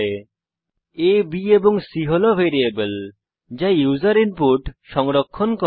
a b এবং c হল variable যা ইউসার ইনপুট সংরক্ষণ করে